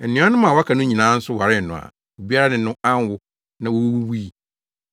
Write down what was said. Anuanom a wɔaka no nyinaa nso waree no a obiara ne no anwo, na wowuwui.